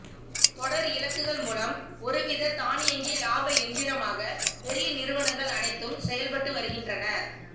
தொடர் இலக்குகள் மூலம் ஒரு வித தானியங்கி லாப எந்திரமாக பெரிய நிறுவனங்கள் அனைத்தும் செயல் பட்டு வருகின்றன